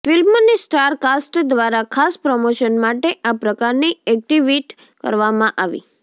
ફિલ્મની star cast દ્વારા ખાસ પ્રમોશન માટે આ પ્રકારની એક્ટિવિટ કરવામાં આવી